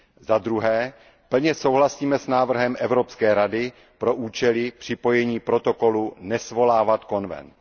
Za druhé plně souhlasíme s návrhem Evropské rady pro účely připojení protokolu nesvolávat konvent.